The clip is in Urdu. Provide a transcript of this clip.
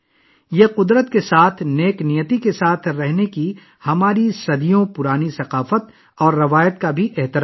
یہ ہماری قدیم ثقافت اور فطرت کے ساتھ ہم آہنگ رہنے کی روایت کو بھی خراج تحسین ہے